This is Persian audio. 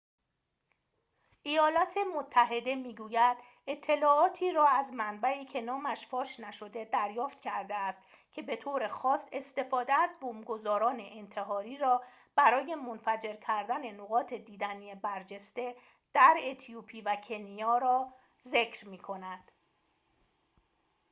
ایالات متحده می‌گوید اطلاعاتی را از منبعی که نامش فاش نشده دریافت کرده است که به‌طور خاص استفاده از بمب‌گذاران انتحاری را برای منفجر کردن نقاط دیدنی برجسته در اتیوپی و کنیا را ذکر می‌کند